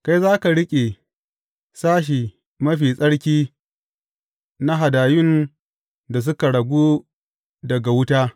Kai za ka riƙe sashe mafi tsarki na hadayun da suka ragu daga wuta.